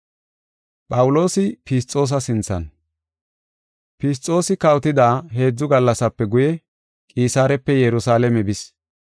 Fisxoosi kawotida heedzu gallasape guye Qisaarepe Yerusalaame bis.